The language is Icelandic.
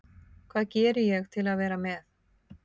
Hvað geri ég til að vera með?